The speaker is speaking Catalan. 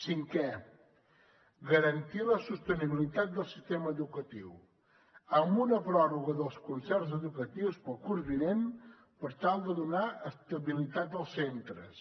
cinquè garantir la sostenibilitat del sistema educatiu amb una pròrroga dels concerts educatius per al curs vinent per tal de donar estabilitat als centres